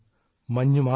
മഞ്ഞ് മാത്രം